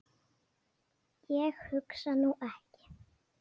Ég hugsa nú ekki.